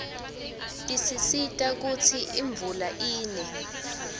tisisita kutsi imvula ine